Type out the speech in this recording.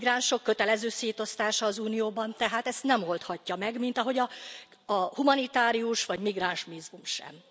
A migránsok kötelező szétosztása az Unióban tehát ezt nem oldhatja meg, mint ahogy a humanitárius vagy migránsvízum sem.